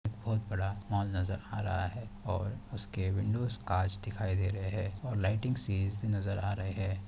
बहुत बड़ा मॉल नज़र आ रहा है और उसके विंडोज़ कांच दिखाई दे रहे है और लाइटिंग सी नज़र आ रहे हैं।